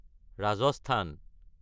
Rajasthan